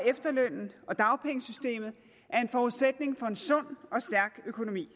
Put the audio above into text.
efterlønnen og dagpengesystemet er en forudsætning for en sund og stærk økonomi